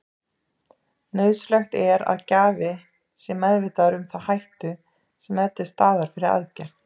Nauðsynlegt er að gjafi sé meðvitaður um þá áhættu sem er til staðar fyrir aðgerð.